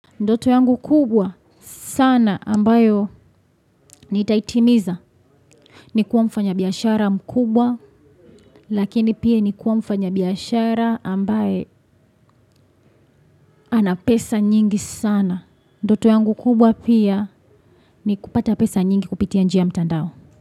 Ndoto yangu kubwa sana ambayo nita itimiza ni kuwa mfanya biashara mkubwa lakini pia ni kuwa mfanya biashara ambaye ana pesa nyingi sana. Ndoto yangu kubwa pia ni kupata pesa nyingi kupitia njia mtandao.